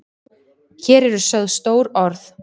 Hér eru sögð stór orð.